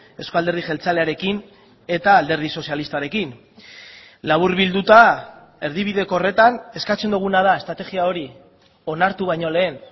euzko alderdi jeltzalearekin eta alderdi sozialistarekin laburbilduta erdibideko horretan eskatzen duguna da estrategia hori onartu baino lehen